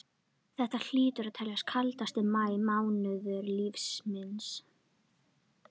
Þetta hlýtur að teljast kaldasti maí mánuður lífs míns.